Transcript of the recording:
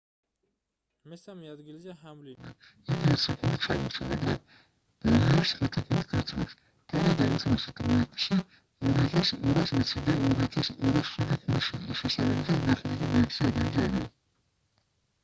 მესამე ადგილზეა ჰამლინი იგი ოცი ქულით ჩამორჩა მაგრამ ბოიერს ხუთი ქულით უსწრებს კანე და უმცროსი ტრუეკსი 2220 და 2207 ქულით შესაბამისად მეხუთე და მეექვსე ადგილზე არიან